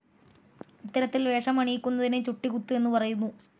ഇത്തരത്തിൽ വേഷമണിയിക്കുന്നതിന് ചുട്ടികുത്ത് എന്നു പറയുന്നു.